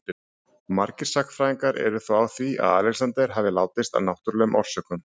Margir sagnfræðingar eru þó á því að Alexander hafi látist af náttúrlegum orsökum.